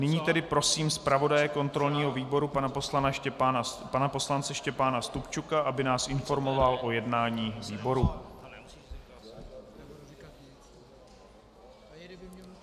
Nyní tedy prosím zpravodaje kontrolního výboru pana poslance Štěpána Stupčuka, aby nás informoval o jednání výboru.